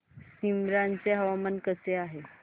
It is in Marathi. सीमांध्र चे हवामान कसे आहे